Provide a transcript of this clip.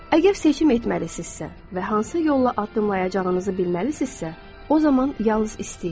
Əgər seçim etməlisinizsə və hansı yolla addımlayacağınızı bilməlisinizsə, o zaman yalnız istəyin.